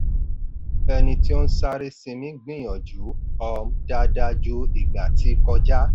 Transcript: ẹni tí ó ń sáré sinmi gbìyànjú um dáadáa ju ìgbà tí kọjá.